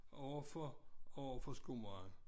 Overfor overfor skomageren